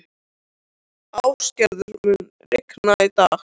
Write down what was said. Ástgerður, mun rigna í dag?